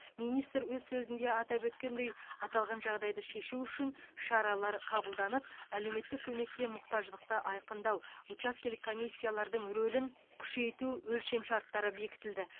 министр өз сөзінде атап өткендей аталған жағдайды шешу үшін шаралар қабылданып әлеуметтік көмекке мұқтаждықты айқындау учаскелік комиссиялардың рөлін күшейту өлшемшарттары бекітілді